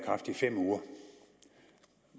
i kraft i fem uger